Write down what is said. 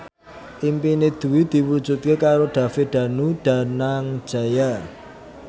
impine Dwi diwujudke karo David Danu Danangjaya